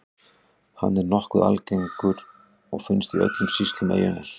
Hann er nokkuð algengur og finnst í öllum sýslum eyjunnar.